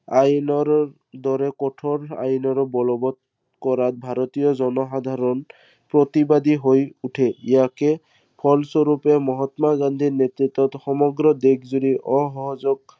আইনৰ দৰে কঠোৰ আইনৰ বলৱৎ কৰাত ভাৰতীয় জনসাধাৰন প্ৰতিবাদী হৈ উঠে। ইয়াৰে ফল স্বৰূপে মহাত্মা গান্ধীৰ নেতৃত্বত সমগ্ৰ দেশজুৰি অসহযোগ